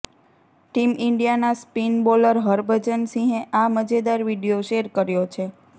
team ઇન્ડિયાના spin bowler Harbhajan સિંહે આ મજેદાર વીડિયો શેર કર્યો છે